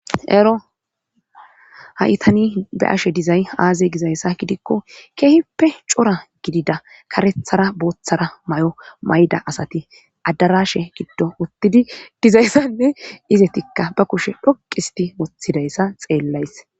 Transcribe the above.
Ero haitani be ashe dizay aaze gizayssa gidikko keehippe cora gidida karethara booththara may7o mayda asati addarashe giddo uttidi dizayssanne izetikka ba kushe dhoqisti mothidayssa xeellays.